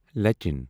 لچھَن